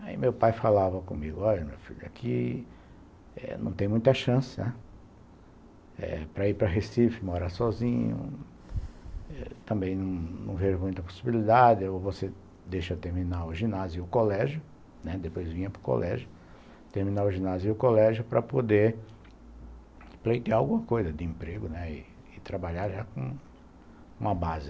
Aí meu pai falava comigo, olha, meu filho, aqui não tem muita chance, né, para ir para Recife, morar sozinho, também não vejo muita possibilidade, ou você deixa terminar o ginásio e o colégio, né, depois vinha para o colégio, terminar o ginásio e o colégio para poder pleitear alguma coisa de emprego e trabalhar com uma base.